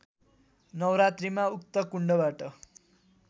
नवरात्रीमा उक्त कुण्डबाट